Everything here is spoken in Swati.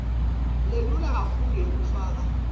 lelula kakhulu yekufaka